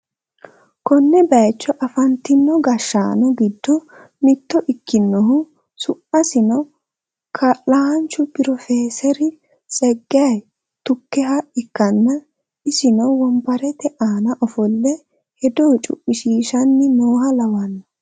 konne bayicho afantino gashshaano giddo mitto ikkinohu su'masino kaa'laancho piroofeseri tseggaye tukeha ikkanna, isino wonbarte aana ofolle hedo cu'mishshiishanni nooha lawanno.